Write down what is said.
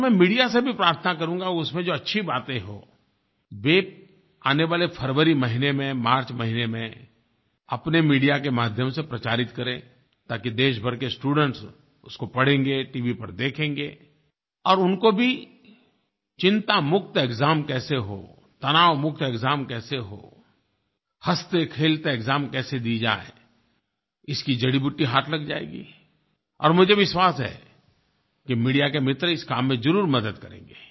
और मैं मीडिया से भी प्रार्थना करूँगा उसमें जो अच्छी बातें हों वे आने वाले फ़रवरी महीने में मार्च महीने में अपने मीडिया के माध्यम से प्रचारित करें ताकि देशभर के स्टूडेंट्स उसको पढ़ेंगे टीवी पर देखेंगे और उनको भी चिंतामुक्त एक्साम कैसे हो तनावमुक्त एक्साम कैसे हो हँसतेखेलते एक्साम कैसे दिए जाएँ इसकी जड़ीबूटी हाथ लग जाएगी और मुझे विश्वास है कि मीडिया के मित्र इस काम में ज़रूर मदद करेंगे